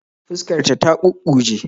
Fuskar ta ta kukkuje